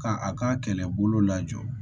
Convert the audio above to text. Ka a ka kɛlɛbolo lajɔ